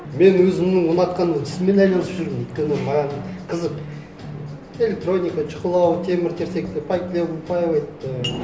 мен өзімнің ұнатқан ісіммен айналысып жүрмін өйткені маған қызық электроника шұқылау темір терсекті пайкалау выпаивать і